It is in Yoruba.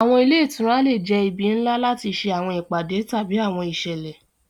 Awọn ile itura le jẹ ibi nla lati ṣe awọn ipade tabi awọn iṣẹlẹ.